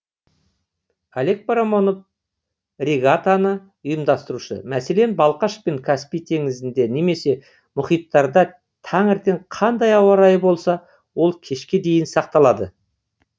олег парамонов регатаны ұйымдастырушы мәселен балқаш пен каспий теңізінде немесе мұхиттарда таңертең қандай ауа райы болса ол кешке дейін сақталады